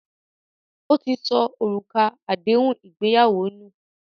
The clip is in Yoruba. Ó ti sọ òrùka nù àdéhùn ìgbéyàwó